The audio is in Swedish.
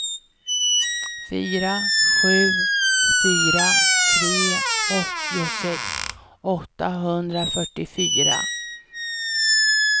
fyra sju fyra tre åttiosex åttahundrafyrtiofyra